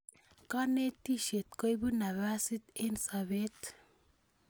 Kanetishet koipu nafasit eng' sobet